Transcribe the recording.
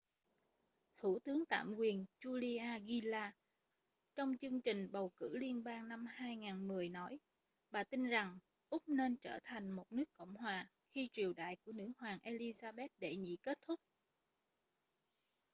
thủ tướng tạm quyền julia gillard trong chương trình bầu cử liên bang năm 2010 nói bà tin rằng úc nên trở thành một nước cộng hòa khi triều đại của nữ hoàng elizabeth đệ nhị kết thúc